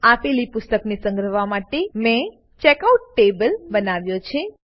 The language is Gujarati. આપેલી પુસ્તકોને સંગ્રહવા માટે મેં ચેકઆઉટ ટેબલ બનાવ્યો છે